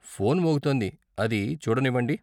Phone మోగుతోంది, అది చూడనివ్వండి.